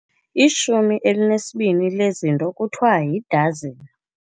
Ishumi elinesibini lezinto kuthiwa yidazini.